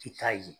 I t'a ye